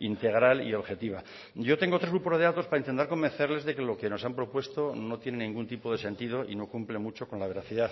integral y objetiva yo tengo otros grupos de datos para intentar convencerles de que lo que nos han propuesto no tiene ningún tipo de sentido y no cumple mucho con la veracidad